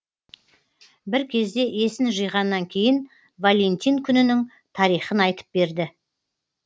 бір кезде есін жиғаннан кейін валентин күнінің тарихын айтып берді